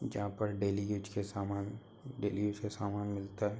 जहां पर daily use का समान डेली यूज का समान मिलता है।